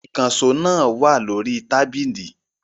Ìkànṣó náà wà lórí tábìlì.